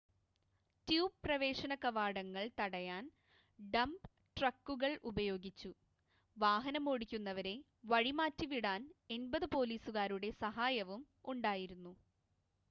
tube പ്രവേശന കവാടങ്ങൾ തടയാൻ ഡമ്പ് ട്രക്കുകൾ ഉപയോഗിച്ചു വാഹനമോടിക്കുന്നവരെ വഴിമാറ്റിവിടാൻ 80 പോലീസുകാരുടെ സഹായവും ഉണ്ടായിരുന്നു